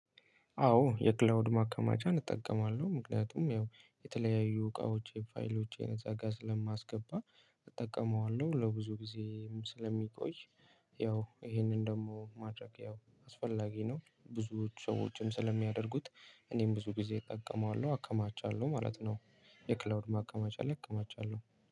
አዎ የክላውድ ማከማቻን እጠቀማለሁ ምክንያቱም ያው የተለያዩ እቃዎቼን ፋይሎቼን እዛ ጋር ስለማስገባ እጠቀመዋለሁ ለብዙ ጊዜም ስለሚቆይ። ያው ይሄንን ደግሞ ማድረግ ያው አስፈላጊ ነው። ብዙዎች ሰዎችም ስለሚያደርጉት እኔም ብዙ ጊዜ እጠቀመዋለሁ አከማቻለሁ ማለት ነው። የክላውድ ማከማቻ ላይ አከማቻለሁ